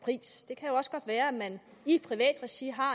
pris det kan også godt være at man i privat regi har